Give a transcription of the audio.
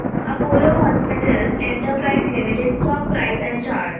Apollo hospitals enterprise limited stock price and chart